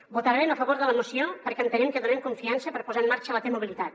votarem a favor de la moció perquè entenem que donem confiança per posar en marxa la t mobilitat